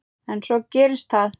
En svo gerist það.